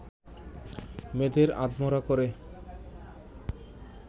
মেয়েদের আধমরা করে